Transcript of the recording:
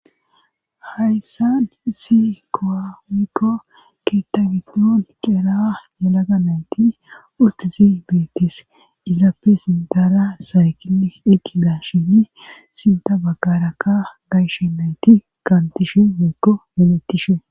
Hayssan isi koamikko keetabidon ceeraa yalaga nayti otzi beetis izaapfe sintara saykili eqida shini sinta bagkarakka gayshe nayti kaantishe meekko meletishe